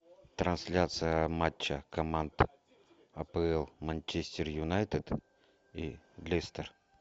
трансляция матча команд апл манчестер юнайтед и лестер